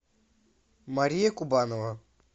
мария кубанова